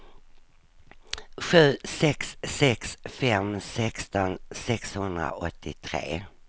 sju sex sex fem sexton sexhundraåttiotre